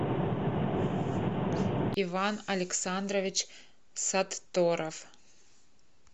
иван александрович сатторов